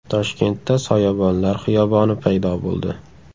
Toshkentda soyabonlar xiyoboni paydo bo‘ldi.